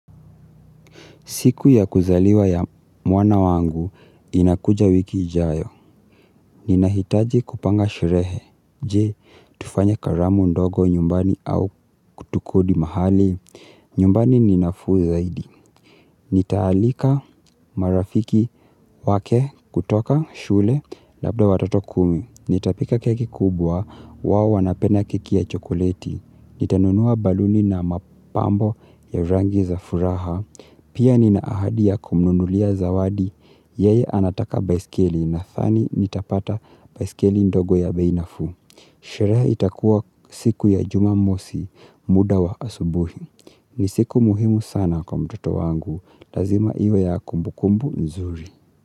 Siku ya kuzaliwa ya mwana wangu inakuja wiki ijayo. Ninahitaji kupanga sherehe. Je, tufanye karamu ndogo nyumbani au tukodi mahali? Nyumbani ni nafuu zaidi. Nitaalika marafiki wake kutoka shule labda watoto kumi. Nitapika keki kubwa wao wanapenda keki ya chokoleti. Nitanunua baluni na mapambo ya rangi za furaha. Pia nina ahadi ya kumnunulia zawadi, yeye anataka baiskeli nadhani nitapata baiskeli ndogo ya bei nafuu. Sherehe itakuwa siku ya jumamosi muda wa asubuhi. Ni siku muhimu sana kwa mtoto wangu. Lazima iwe ya kumbukumbu nzuri.